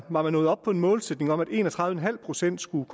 var man nået op på en målsætning om at en og tredive en halv procent skulle